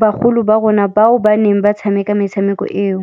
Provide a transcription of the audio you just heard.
bagolo ba rona bao ba neng ba tshameka metshameko eo.